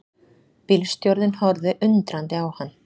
Bílstjórinn horfði undrandi á hann.